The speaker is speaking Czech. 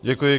Děkuji.